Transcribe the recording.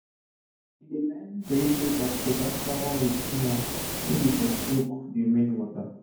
we dey line our vegetable basket after we clean am make e for soak d remaining water